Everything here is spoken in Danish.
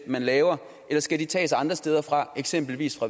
man laver eller skal de tages andre steder fra eksempelvis